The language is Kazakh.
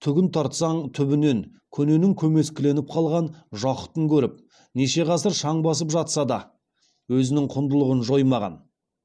түгін тартсаң түбінен көненің көмескіленіп қалған жақұтын көріп неше ғасыр шаң басып жатса да өзінің құндылығын жоймаған